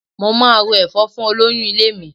Mo máa ro ẹ̀fọ́ fún olóyún ilé mi.